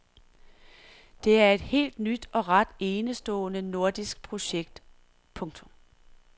Det er et helt nyt og ret enestående nordisk projekt. punktum